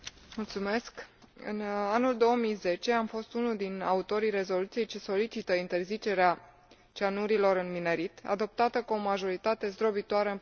În anul 2010, am fost unul din autorii rezoluției ce solicită interzicerea cianurilor în minerit, adoptată cu o majoritate zdrobitoare în Parlamentul European.